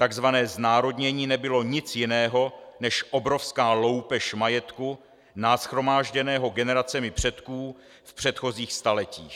Takzvané znárodnění nebylo nic jiného než obrovská loupež majetku nashromážděného generacemi předků v předchozích staletích.